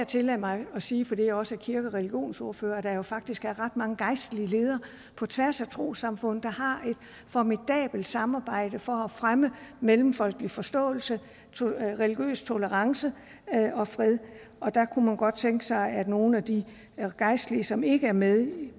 tillade mig at sige her fordi jeg også er kirke og religionsordfører at der jo faktisk er ret mange gejstlige ledere på tværs af trossamfund der har et formidabelt samarbejde for at fremme mellemfolkelig forståelse religiøs tolerance og fred der kunne man godt tænke sig at nogle af de gejstlige som ikke er med